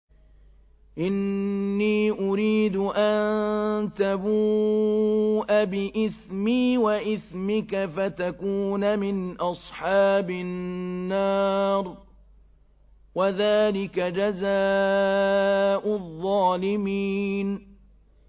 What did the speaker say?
إِنِّي أُرِيدُ أَن تَبُوءَ بِإِثْمِي وَإِثْمِكَ فَتَكُونَ مِنْ أَصْحَابِ النَّارِ ۚ وَذَٰلِكَ جَزَاءُ الظَّالِمِينَ